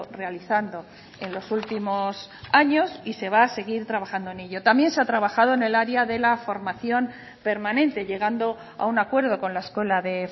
realizando en los últimos años y se va a seguir trabajando en ello también se ha trabajado en el área de la formación permanente llegando a un acuerdo con la escuela de